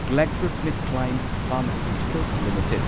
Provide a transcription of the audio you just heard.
GlaxoSmithKline pharmaceutical limited